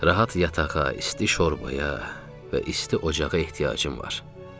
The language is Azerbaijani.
Rahat yatağa, isti şorbaya və isti ocağa ehtiyacım var.